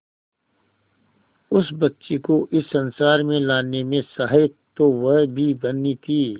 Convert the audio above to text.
उस बच्ची को इस संसार में लाने में सहायक तो वह भी बनी थी